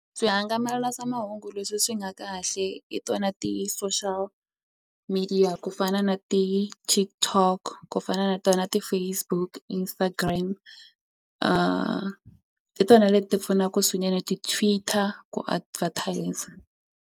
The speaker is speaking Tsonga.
leswi swi nga kahle hi tona ti-social media ku fana na ti-TikTok ku fana na tona ti-Facebook Instagram hi tona leti pfunaku swinene ti-Twitter ku advertiser.